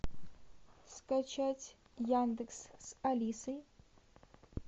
скачать яндекс с алисой